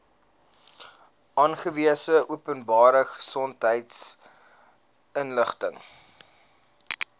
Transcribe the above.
aangewese openbare gesondheidsinstelling